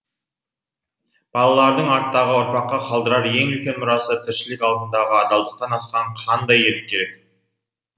балалардың арттағы ұрпаққа қалдырар ең үлкен мұрасы тіршілік алдындағы адалдықтан асқан қандай ерлік керек